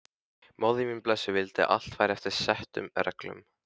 Móðir mín blessuð vildi að allt færi eftir settum reglum.